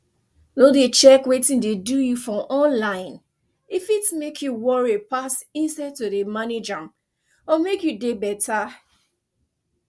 no dey check wetin dey do you for online e fit make you worry pass instead to dey manage am or make you dey better